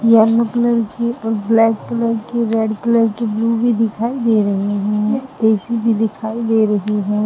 Yellow colour की और black colour की रेड कलर की ब्लू भी दिखाई दे रही है। ए_सी भी दिखाई दे रही है।